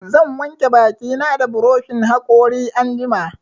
Zan wanke baki na da buroshin haƙori anjima